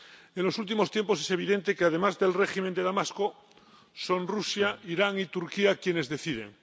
En los últimos tiempos es evidente que, además del régimen de Damasco, son Rusia, Irán y Turquía quienes deciden.